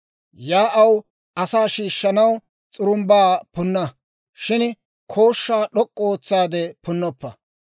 Yaa'aw asaa shiishshanaw s'urumbbaa punna; shin kooshshaa d'ok'k'u ootsaade punnoppa.